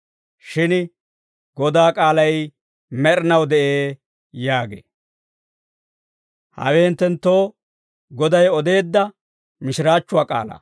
Shin Godaa k'aalay med'inaw de'ee» yaagee. Hawe hinttenttoo Goday odeedda mishiraachchuwaa k'aalaa.